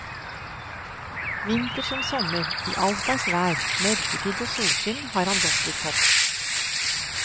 Vinter som sommer, i allslags vær, mørketid og solskinn, har han gått til topps.